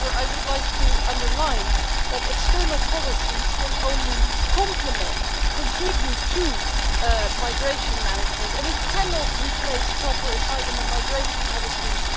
However, I would like to underline that external policies can only complement, contribute to, migration management, and it cannot replace proper asylum and migration policies.